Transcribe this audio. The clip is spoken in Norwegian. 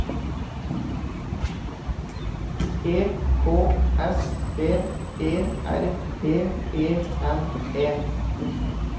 E K S P E R T E N E